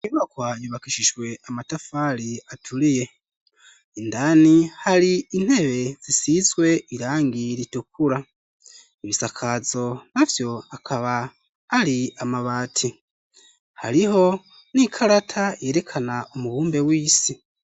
Inyubakwa yubakishijwe amatafari aturiye, indani hari intebe zisizwe irangi ritukura, ibisakazo navyo akaba ari amabati, hariho n'ikarata yerekana umubumbe w'isi.